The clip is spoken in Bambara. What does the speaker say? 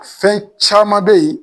Fɛn caman bɛ ye.